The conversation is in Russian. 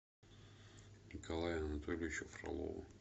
николаю анатольевичу фролову